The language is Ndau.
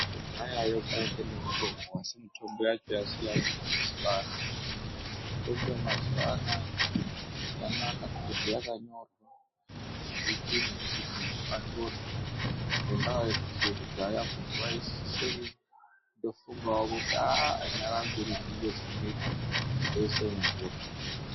Kudhayayo kwainge nemitombo, asi mitombo yacho yasiyana neyemazuva ano. Mitombo yemazuva anaya, yanaka ngekuti yakanyorwa chipimo chekuti muntu atore, ngendaa yekuti yekudhaya muntu waisise kundofungawo kuti haa nyara mbiri dzinenge dzinoita, ndoise mumvura.